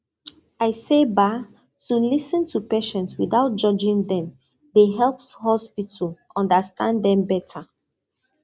i say ba to lis ten to patient without judging dem dey help hospital understand dem better